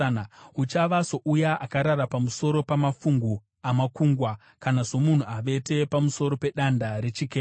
Uchava souya akarara pamusoro pamafungu amakungwa, kana somunhu avete pamusoro pedanda rechikepe.